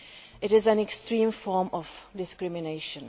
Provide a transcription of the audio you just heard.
It is an extreme form of discrimination.